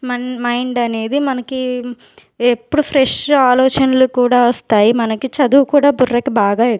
Mann mind అనేది మనకి ఎప్పుడు ఫ్రెష్ ఆలోచనలు కూడా వస్తాయి మనకి చదువు కూడా బుర్రకు బాగా ఎక్--